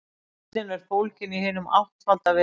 Lausnin er fólgin í hinum áttfalda vegi.